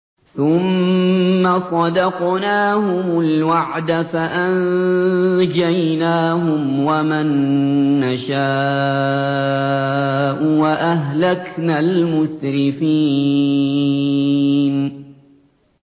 ثُمَّ صَدَقْنَاهُمُ الْوَعْدَ فَأَنجَيْنَاهُمْ وَمَن نَّشَاءُ وَأَهْلَكْنَا الْمُسْرِفِينَ